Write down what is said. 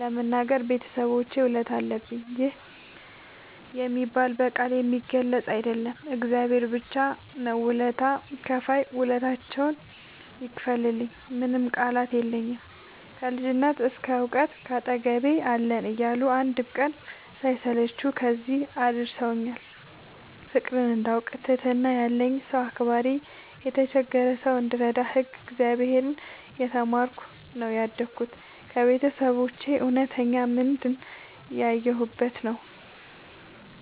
ለመናገር የቤተሰቦቼ ውለታ አለብኝ ይህ የሚባል በቃላት የሚገለፅ አይደለም እግዚአብሔር ብቻ ነው ውለታ ከፍይ ውለታቸውን ይክፈልልኝ ምንም ቃላት የለኝም። ከልጅነት እስከ ዕውቀት ካጠገቤ አለን እያሉ አንድም ቀን ሳይሰለቹ ከዚህ እንድደርስ አድርገውኛል። ፍቅርን እንዳውቅ ትህትና ያለኝ ሰው አክባሪ የተቸገረ ሰው እንድረዳ ህግ እግዚአብሔርን እየተማርኩ ነው ያደግሁት ከቤተሰቦቼ እውነተኛ ምንድን ያየሁበት ነው።